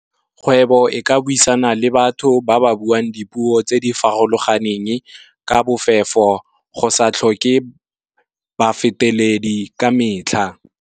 Kgwebo e ka buisana le batho ba ba buang dipuo tse di farologaneng, ka bofefo go sa tlhoke ba feteledi ka metlha.